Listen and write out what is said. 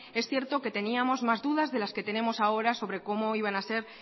es cierto que teníamos más dudas de las que tenemos ahora sobre cómo iban a ser